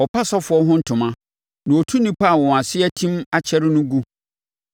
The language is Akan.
Ɔpa asɔfoɔ ho ntoma, na ɔtu nnipa a wɔn ase atim akyɛre gu.